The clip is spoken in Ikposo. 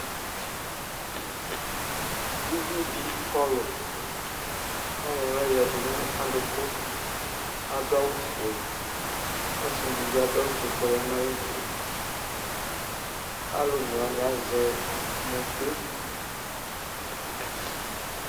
uvi di kɔlu k'ayɔ ala oya du n'adukò adu awu fue ɔsi di bi adu awu fue k'ɔya n'ayi du alò one wani azɛ mote